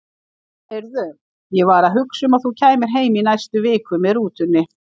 Heyrðu, ég var að hugsa um að þú kæmir heim í næstu viku með rútunni.